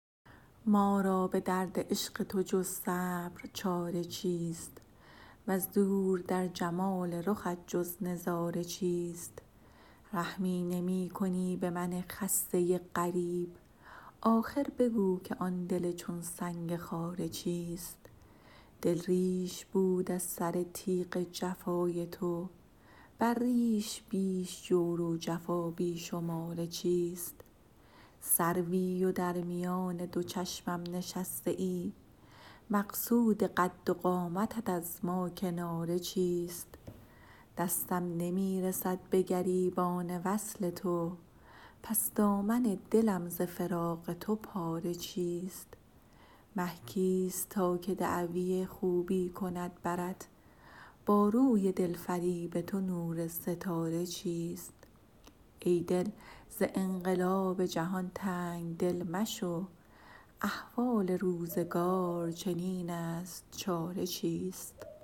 ما را به درد عشق تو جز صبر چاره چیست وز دور در جمال رخت جز نظاره چیست رحمی نمی کنی به من خسته غریب آخر بگو که آن دل چون سنگ خاره چیست دل ریش بود از سر تیغ جفای تو بر ریش بیش جور و جفا بی شماره چیست سروی و در میان دو چشمم نشسته ای مقصود قد و قامتت از ما کناره چیست دستم نمی رسد به گریبان وصل تو پس دامن دلم ز فراق تو پاره چیست مه کیست تا که دعوی خوبی کند برت با روی دلفریب تو نور ستاره چیست ای دل ز انقلاب جهان تنگ دل مشو احوال روزگار چنین است چاره چیست